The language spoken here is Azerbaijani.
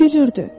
O gülürdü.